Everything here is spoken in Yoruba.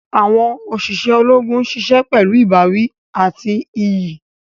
Awọn oṣiṣẹ Ológùn ṣiṣẹ pẹlu ìbáwí àti iyì